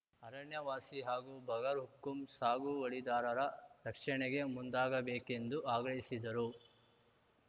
ಅರಣ್ಯವಾಸಿ ಹಾಗೂ ಬಗರ್‌ಹುಕುಂ ಸಾಗುವಳಿದಾರರ ರಕ್ಷಣೆಗೆ ಮುಂದಾಗಬೇಕೆಂದು ಆಗ್ರಹಿಸಿದರು